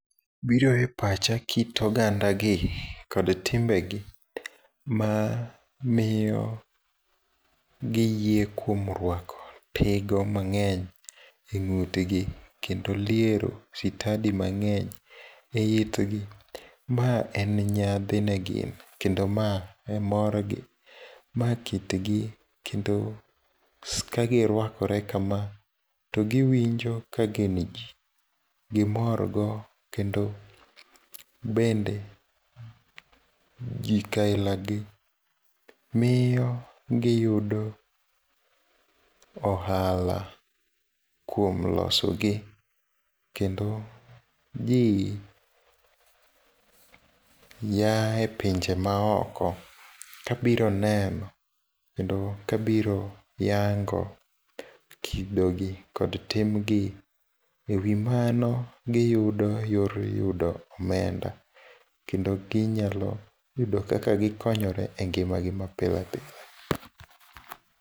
Biro e pacha kit ogandagi, kod timbegi mamiyo giyie kuom ruako tigo mang'eny e ng'utgi, kendo liero sitadi mang'eny e itgi. Ma en nyadhi ne gin, kendo ma e morgi. Ma kitgi, kendo kagiruakore kama, togiwinjo kagin jii. Gimorgo kendo bende gik aila gi miyo giyudo ohala kuom loso gi kendo jii yae pinje maoko kabiro neno, kendo kabiro yango kidogi kod timgi. E wi mano giyudo yor yudo omenda, kendo ginyalo yudo kaka ginyokore e ngimagi mapile pile.